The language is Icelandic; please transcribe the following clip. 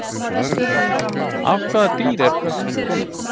Af hvaða dýri er kötturinn kominn?